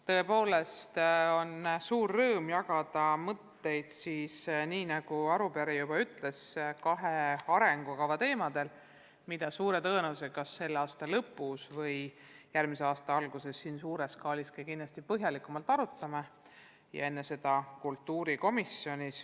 Tõepoolest on suur rõõm jagada mõtteid, nagu arupärija juba ütles, kahe arengukava teemadel, mida suure tõenäosusega selle aasta lõpus või järgmise aasta alguses siin saalis ja enne seda kultuurikomisjonis kindlasti põhjalikumalt arutatakse.